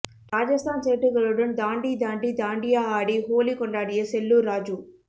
ராஜஸ்தான் சேட்டுகளுடன் தாண்டி தாண்டி தாண்டியா ஆடி ஹோலி கொண்டாடிய செல்லூர் ராஜூ